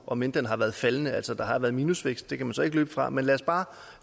om end den har været faldende at der altså har været minusvækst og det kan man så ikke løbe fra men lad os bare